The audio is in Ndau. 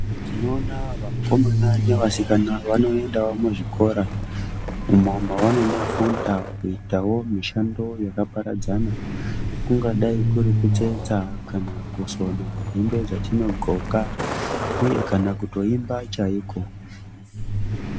Tinoona vakomana ne vasikana vanoendawo mu zvikora ma vanondo funda kuitawo mishando yaka paradzana kungadai kuri kutsetsa kana kusona hembe dzatino ndxoka uye kana kutoimba chaiko.